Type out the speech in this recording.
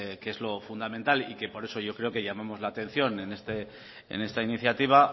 que es lo fundamental y que por eso yo creo que llamamos la atención en esta iniciativa